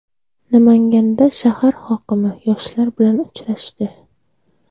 Namanganda shahar hokimi yoshlar bilan uchrashdi.